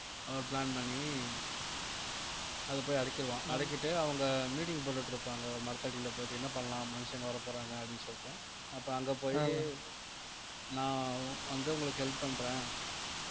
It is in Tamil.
அவர் plan பண்ணி அதை போய் அடக்கிருவான் அடக்கிட்டு அவங்க meeting போட்டுட்டு இருப்பாங்க ஒரு மரத்தடியில போயிட்டு என்ன பண்ணலாம் மனுஷங்க வரப்போறாங்க அப்படின்னு சொல்லிட்டு அப்ப அங்க போயி நான் வந்து உங்களுக்கு help பண்றேன்